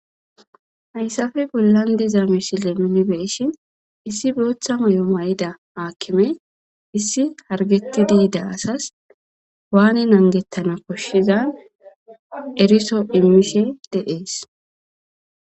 hayssafe bollan diza misile nunibeeshin issi bootha mayo may7ida aakkime issi hargettidiidaasas waani angettana koshshizan eriso immishe de'es